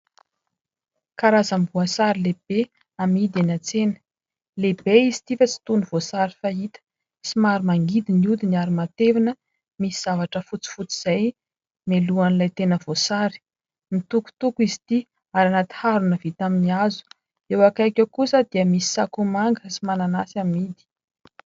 Karazam-boasary lehibe amidy any antsena, lehibe izy ity fa tsy toy ny voasary fahita, somary mangidy ny odiny ary matevina, misy zavatra fotsifotsy izay mialohan'ilay tena voasary. Mitokotoko izy ity ary ao anaty harona vita amin'ny hazo, eo akaiky eo kosa dia misy sakomanga sy mananasy amidy.